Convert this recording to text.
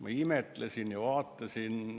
Ma imetlesin ja vaatasin.